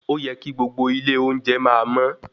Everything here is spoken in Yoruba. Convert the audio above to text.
Óyẹ kí gbogbo ilé oúnjẹ máa mọ́.